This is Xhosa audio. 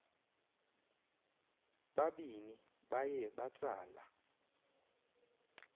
babini baye batsala